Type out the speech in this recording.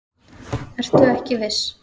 Ertu ekki viss?